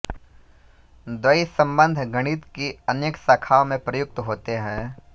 द्वयी सम्बन्ध गणित की अनेक शाखाओं में प्रयुक्त होते हैं